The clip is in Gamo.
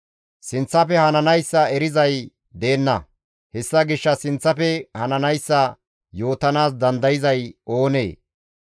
Sinththafe hananayssa erizay deenna; hessa gishshas sinththafe hananayssa yootanaas dandayzay oonee?